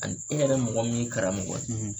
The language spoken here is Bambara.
Ani e yɛrɛ mɔgɔ min ye karamɔgɔ ye